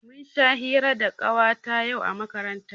Mun sha hira da Ƙawata yau a makaranta.